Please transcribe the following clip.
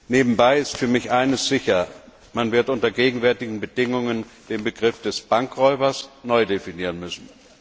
Nebenbei ist für mich eines sicher Man wird unter den gegenwärtigen Bedingungen den Begriff des Bankräubers neu definieren müssen.